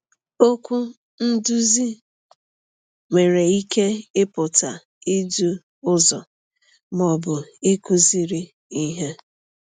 Okwu “nduzi” nwere ike ịpụta idu ụzọ ma ọ bụ ịkụziri ihe.